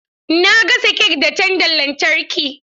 Eh na gasa kek da tandan lantarki.